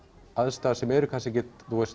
aðstæður sem eru kannski ekkert